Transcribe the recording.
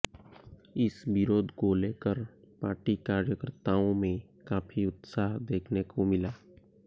इस विरोध को लेकर पार्टी कार्यकर्ताओं में काफी उत्साह देखने को मिला